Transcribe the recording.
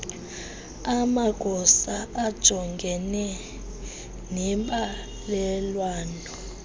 amagosa ajongene nembalelwano